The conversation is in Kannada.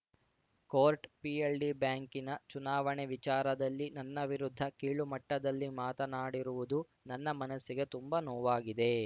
ಕೋರ್ಟ್‌ ಪಿಎಲ್‌ಡಿ ಬ್ಯಾಂಕಿನ ಚುನಾವಣೆ ವಿಚಾರದಲ್ಲಿ ನನ್ನ ವಿರುದ್ಧ ಕೀಳುಮಟ್ಟದಲ್ಲಿ ಮಾತನಾಡಿರುವುದು ನನ್ನ ಮನಸ್ಸಿಗೆ ತುಂಬಾ ನೋವಾಗಿದೆ